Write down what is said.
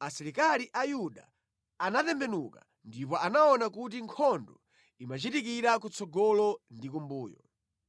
Asilikali a Yuda anatembenuka ndipo anaona kuti nkhondo imachitikira kutsogolo ndi kumbuyo.